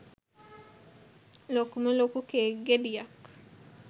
ලොකුම ලොකු කේක් ගෙඩියක්.